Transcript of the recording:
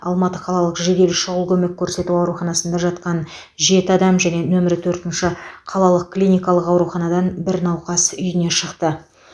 алматы қалалық жедел шұғыл көмек көрсету ауруханасында жатқан жеті адам және нөмір төртінші қалалық клиникалық ауруханадан бір науқас үйіне шықты